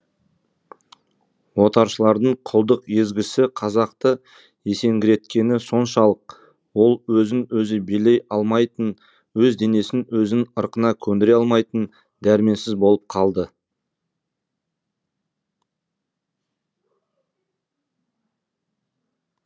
отаршылдардың құлдық езгісі қазақты есеңгіреткені соншалық ол өзін өзі билей алмайтын өз денесін өзінің ырқына көндіре алмайтын дәрменсіз болып қалды